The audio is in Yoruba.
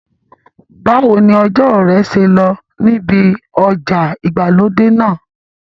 Báwo ni ọjọ́ rẹ ṣe lọ níbi ọjà ìgbàlódé náà?